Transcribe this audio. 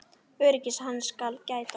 Öryggis hans skal gætt.